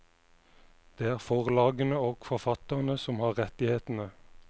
Det er forlagene og forfatterne som har rettighetene.